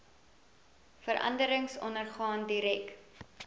veranderings ondergaan direk